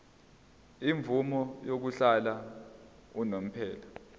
imvume yokuhlala unomphela